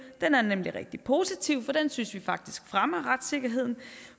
den er nemlig rigtig positiv for den synes vi faktisk fremmer retssikkerheden